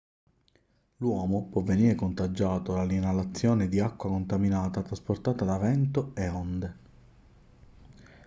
l'uomo può venire contagiato dall'inalazione di acqua contaminata trasportata da vento e onde